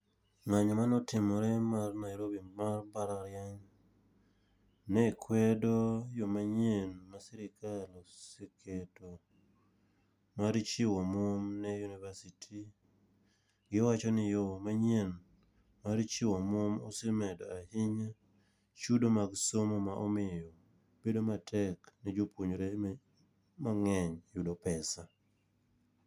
Ngányo mane otimore mar Nairobi mar mbalariany, ne kwedo yo manyien ma sirkal oseketo mar chiwo omwom ne university. Giwacho ni yo manyien mar chiwo omwom osemedo ahinya chudo mag somo ma omiyo bedo matek ne jopuonjore ne mangény yudo pesa.